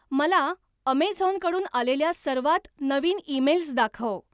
मला अमेझॉनकडून आलेल्या सर्वात नवीन ईमेल्स दाखव.